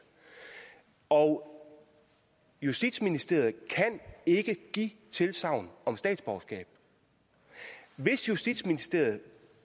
og justitsministeriet kan ikke give tilsagn om statsborgerskab hvis justitsministeriet